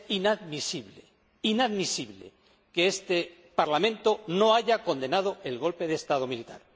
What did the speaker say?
Es inadmisible que este Parlamento no haya condenado el golpe de Estado militar.